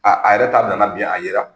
Aa a yɛrɛ ta bila la bin , a yera.